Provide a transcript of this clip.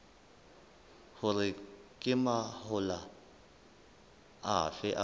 hore ke mahola afe a